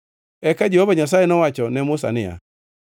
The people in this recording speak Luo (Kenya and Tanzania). Eka Jehova Nyasaye nowacho ne Musa niya,